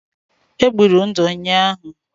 È gburu ndụ ụnyahụ